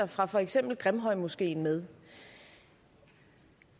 fra for eksempel grimhøjmoskeen med